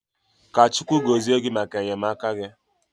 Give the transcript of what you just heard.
Ka Chukwu gozie gị maka enyemaka gị.